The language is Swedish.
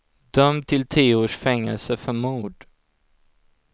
Dömd till tio års fängelse för mord.